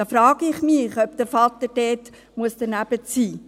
Da frage ich mich, ob der Vater dort daneben sein muss.